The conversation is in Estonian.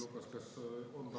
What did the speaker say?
Üks hetk, Tõnis Lukas!